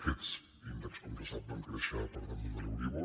aquests índexs com se sap van créixer per damunt de l’euríbor